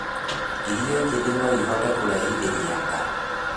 Irio njĩthĩ noĩhote kũrehithĩria ndaa